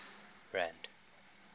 rand